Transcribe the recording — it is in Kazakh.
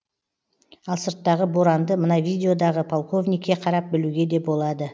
ал сырттағы боранды мына видеодағы полковникке қарап білуге де болады